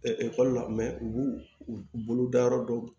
ekɔli la u b'u bolo da yɔrɔ dɔ